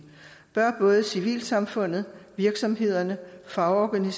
bør både civilsamfundet virksomhederne faglige